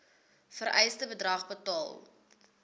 vereiste bedrag betaal